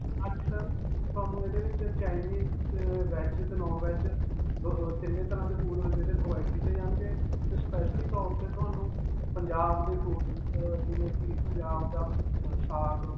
ਹਾਂਜੀ sir. ਤੁਹਾਨੂੰ ਇਹਦੇ ਵਿਚ Chinese, ' ਤੇ veg 'ਤੇ non-veg ਦੋ ਅਅ ਤਿੰਨੋਂ ਤਰ੍ਹਾਂ ਦੇ food provide ਕੀਤੇ ਜਾਣਗੇ 'ਤੇ specially ਤੌਰ 'ਤੇ ਤੁਹਾਨੂੰ ਪੰਜਾਬ ਦੇ food, ਅਅ ਜਿਵੇਂ ਕਿ ਪੰਜਾਬ ਦਾ ਸਾਗ.